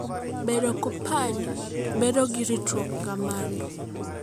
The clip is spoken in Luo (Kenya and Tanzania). Bende kompanyi bedo gi ritruok kamano?